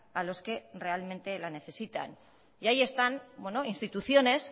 a los que realmente la necesitan y ahí están instituciones